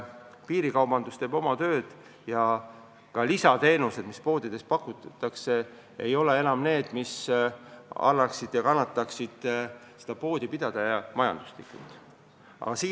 Piirikaubandus on oma töö teinud ja ka lisateenused, mis poodides pakutakse, ei taga enam, et poe pidamine majanduslikult tasuv oleks.